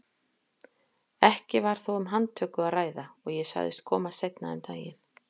Ekki var þó um handtöku að ræða og ég sagðist koma seinna um daginn.